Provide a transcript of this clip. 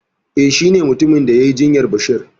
Eh shi ne mutumin da yai jinyar basir